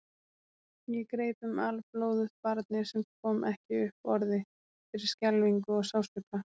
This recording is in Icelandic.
Ég greip um alblóðugt barnið sem kom ekki upp orði fyrir skelfingu og sársauka.